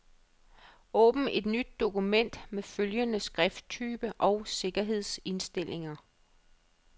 Åbn et nyt dokument med følgende skrifttype og sikkerhedsindstillinger.